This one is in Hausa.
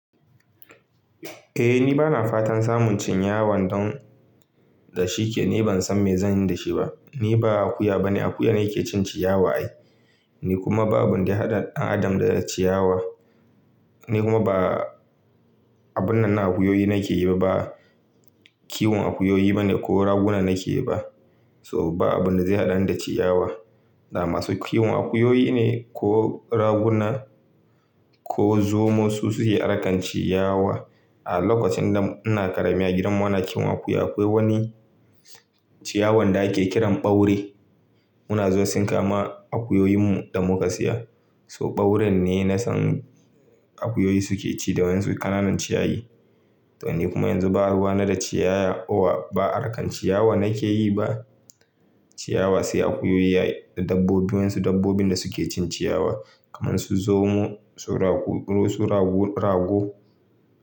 Eh ni bana fatan samun ciyawan don da shike, ni ban san me zan yi da shi ba. Ni ba akuya bane, akuya ne yake cin ciyawa ai, ni kuma babu wanda ya haɗa ɗan adam da ciyawa. Ni kuma ba abun nan na akuyoyi nake yi ba, kiwon akuyoyi ba ne ko raguna nake yi ba. So ba abun da zai haɗani da ciyawa. Na masu kiwon akuyoyi ne ko raguna ko zomo su suke arkan ciyawa. A lokacin da ina ƙarami a gidan mu anakiwon akuya akwai wani ciyawan da ake kiran ɓaure. Muna zuwa sun kama akuyoyinmu da muka saya. So ɓaurin ne na san akuyoyi suke ci da wanzu ƙananan ciyayi. To ni kuma yanzu ba ruwa na da ciyaya, owa ba arkan ciyawa nake yi ba. Ciyawa sai akuyoyi da dabbobi wansu dabbobin da suke cin ciyawa kamar su zomo, su rago.